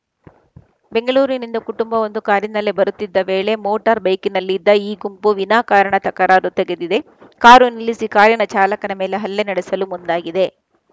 ಬೆಂಗಳೂರಿನಿಂದ ಕುಟುಂಬವೊಂದು ಕಾರಿನಲ್ಲಿ ಬರುತ್ತಿದ್ದ ವೇಳೆ ಮೋಟಾರ್‌ ಬೈಕ್‌ನಲ್ಲಿದ್ದ ಈ ಗುಂಪು ವಿನಾಕಾರಣ ತಕರಾರು ತೆಗೆದಿದೆ ಕಾರು ನಿಲ್ಲಿಸಿ ಕಾರಿನ ಚಾಲಕನ ಮೇಲೆ ಹಲ್ಲೆ ನಡೆಸಲು ಮುಂದಾಗಿದೆ